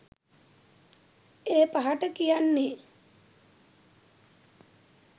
ඒ පහට කියන්නේ